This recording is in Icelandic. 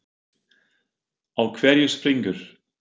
Á hverju springur?